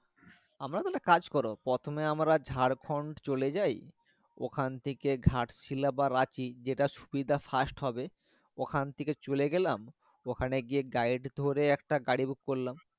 আমরা তাহলে কাজ করো প্রথমে আমরা ঝাড়খন্ড চলে যাই ওখানে থাকে ঘাট শিলা বা রাঁচি যেট সুবিধা fast হবে ওখান থেকে চলে গেলাম ওখানে গিয়ে ডাইরেক্ট ধরে একটা গাড়ি book করলাম।